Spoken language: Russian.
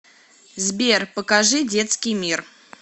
сбер покажи детский мир